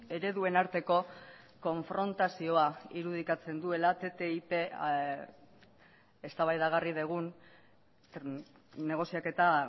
ereduen arteko konfrontazioa irudikatzen duela ttip eztabaidagarri dugun negoziaketa